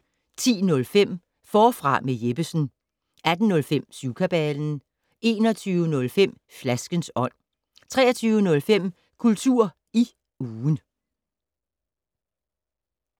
10:05: Forfra med Jeppesen 18:05: Syvkabalen 21:05: Flaskens ånd 23:05: Kultur i ugen